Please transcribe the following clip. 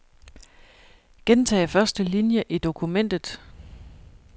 Gentag første linie i dokumentet.